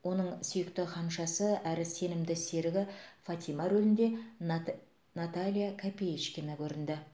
оның сүйікті ханшасы әрі сенімді серігі фатима рөлінде нат наталья копеечкина көрінді